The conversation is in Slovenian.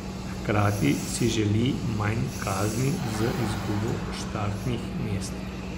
Hkrati si želi manj kazni z izgubo štartnih mest.